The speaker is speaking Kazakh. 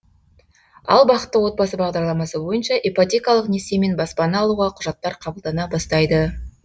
ал бақытты отбасы бағдарламасы бойынша ипотекалық несиемен баспана алуға құжаттар қабылдана бастайды